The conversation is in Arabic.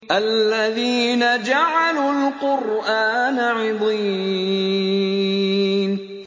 الَّذِينَ جَعَلُوا الْقُرْآنَ عِضِينَ